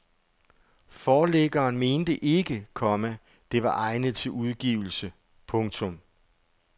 Forlæggeren mente ikke, komma det var egnet til udgivelse. punktum